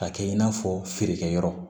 Ka kɛ i n'a fɔ feerekɛyɔrɔ